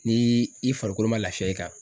Ni i farikolo ma lafiya i kan